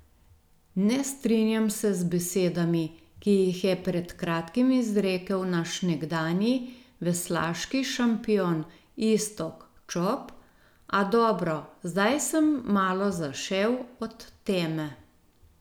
Ne strinjam se z besedami, ki jih je pred kratkim izrekel naš nekdanji veslaški šampion Iztok Čop, a dobro, zdaj sem malo zašel od teme.